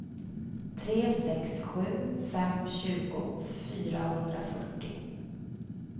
tre sex sju fem tjugo fyrahundrafyrtio